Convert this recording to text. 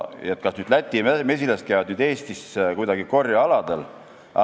Kas Läti mesilased käivad Eesti korjealadel?